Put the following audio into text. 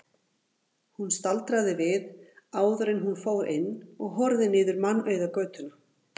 Hún staldraði við áður en hún fór inn og horfði niður mannauða götuna.